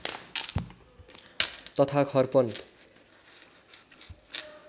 तथा खर्पन